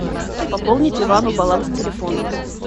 пополнить ивану баланс телефона